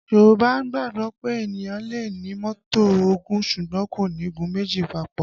Yorùbá gbàgbọ́ pé ènìyàn lè ní mọ́tò ogún, ṣùgbọ́n kò ní gun méjì papò